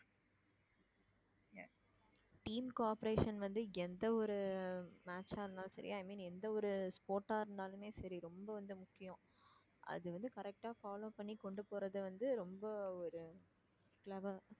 team cooperation வந்து எந்த ஒரு match ஆ இருந்தாலும் சரி i mean எந்த ஒரு sport ஆ இருந்தாலுமே சரி ரொம்ப வந்து முக்கியம் அது வந்து correct ஆ follow பண்ணி கொண்டு போறது வந்து ரொம்ப ஒரு clever